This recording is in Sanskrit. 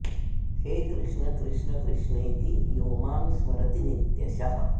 हे कृष्ण कृष्ण कृष्णेति यो मां स्मरति नित्यशः